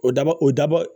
O daba o dabɔ